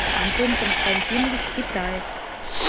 антон константинович китаев